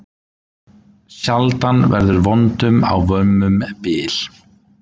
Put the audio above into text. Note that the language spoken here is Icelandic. Sjaldan verður vondum á vömmum bil.